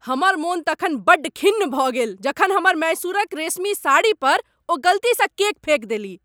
हमर मोन तखन बड्ड खिन्न भऽ गेल जखन हमर मैसूरक रेशमी साड़ीपर ओ गलतीसँ केक फेक देलीह।